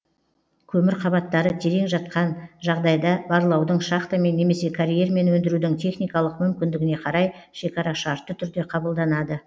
көмір қабаттары терең жатқан жағдайда барлаудың шахтамен немесе карьермен өндірудің техникалық мүмкіндігіне қарай шекара шартты түрде кабылданады